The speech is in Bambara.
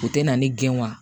O tɛ na ni gɛn wa